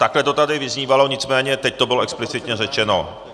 Takhle to tady vyznívalo, nicméně teď to bylo explicitně řečeno.